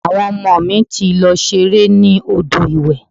Àwọn ọmọ mi ti lọ ṣeré ní odò ìwẹ̀.